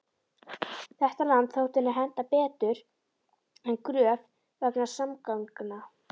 Þetta land þótti henta betur en Gröf vegna samgangna.